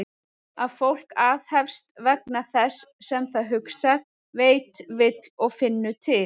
Að fólk aðhefst vegna þess sem það hugsar, veit, vill og finnur til?